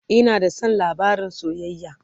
Ina da San labarin soyayya